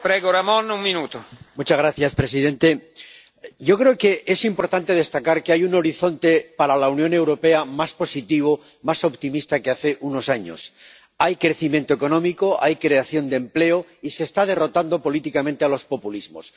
Señor presidente. yo creo que es importante destacar que hay un horizonte para la Unión Europea más positivo, más optimista que hace unos años hay crecimiento económico, hay creación de empleo y se está derrotando políticamente a los populismos.